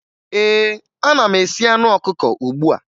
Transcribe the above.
Ee, ana m esi anụ ọkụkọ ugbu a